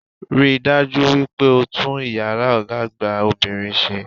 Rí dájú wípé o tún iyàrá Ògá àgbà obìnrin sé